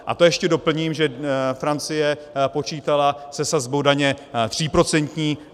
A to ještě doplním, že Francie počítala se sazbou daně tříprocentní.